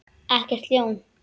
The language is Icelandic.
Ekkert ljón.